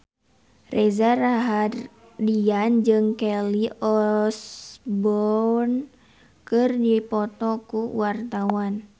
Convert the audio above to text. Reza Rahardian jeung Kelly Osbourne keur dipoto ku wartawan